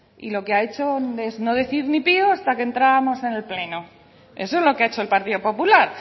y lo que ha hecho es no decir ni pio hasta que entrabamos en el pleno eso es lo que ha hecho el partido popular